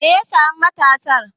Me ya saya ma matarsa?